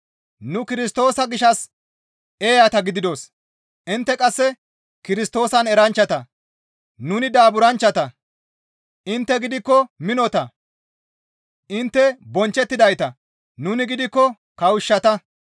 Nu Kirstoosa gishshas eeyata gididos; intte qasse Kirstoosan eranchchata; nuni daaburanchchata; intte gidikko minota; intte bonchchettidayta; nuni gidikko kawushshata.